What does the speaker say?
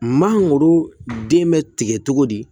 Mangoro den bɛ tigɛ togo di